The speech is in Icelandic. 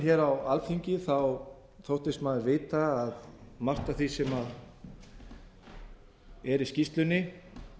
mín á alþingi þóttist maður vita að margt af því sem er í skýrslunni